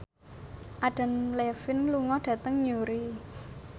Adam Levine lunga dhateng Newry